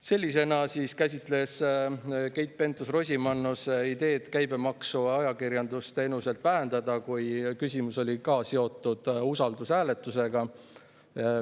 " Sellisena käsitles Keit Pentus-Rosimannus ideed käibemaksu ajakirjandusteenuselt vähendada, kui küsimus oli samuti seotud usaldushääletusega.